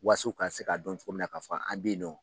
Was'o k'a se k'a dɔn cogo min na k'a fɔ an bɛ yen nɔ.